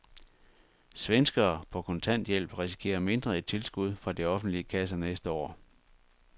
Svenskere på kontanthjælp risikerer mindre i tilskud fra de offentlige kasser næste år.